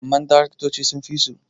amma daraktoci sun fi su